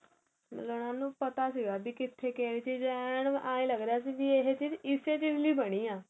ਮਤਲਬ ਉਹਨਾ ਨੂੰ ਪਤਾ ਸੀਗਾ ਕਿਥੇ ਕਿਹੜੀ ਚੀਜ ਏ ਆਹੇ ਲੱਗ ਰਿਹਾ ਸੀ ਇਹ ਚੀਜ ਇਸ ਚੀਜ ਲਈ ਬਣੀ ਏਹ